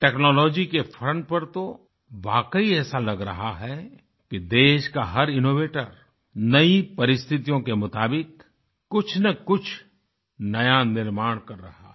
technology के front पर तो वाकई ऐसा लग रहा है कि देश का हर इनोवेटर नई परिस्तिथियों के मुताबिक कुछनकुछ नया निर्माण कर रहा है